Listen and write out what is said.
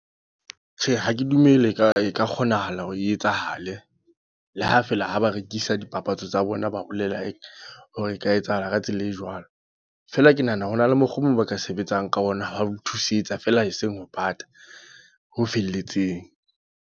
Tjhe, ha ke dumele ka e ka kgonahala hore e etsahale. Le ha feela ha ba rekisa dipapatso tsa bona, ba bolela hore e ka etsahala ka tsela e jwalo. Feela ke nahana ho na le mokgwa o mong ba ka sebetsang ka ona wa ho thusetsa, feela eseng ho bata ho felletseng.